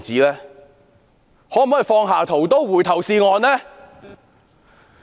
請政府放下屠刀，回頭是岸。